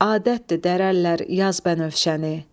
Adətdir dərər əllər yaz bənövşəni.